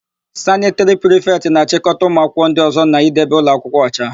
Sanịtịrị prịfetị na-achịkọta ụmụakwụkwọ ndị ọ̀zọ́ na-idebe ụlọakwụkwọ ọcha.